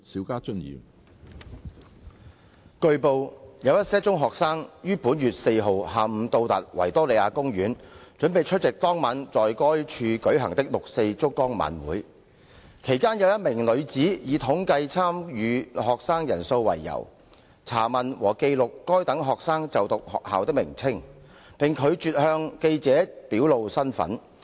據報，有一些中學生於本月4日下午到達維多利亞公園，準備出席當晚在該處舉行的六四燭光晚會；其間有一名女子以統計參與學生人數為由，查問和記錄該等學生就讀學校的名稱，並拒絕向記者表露身份。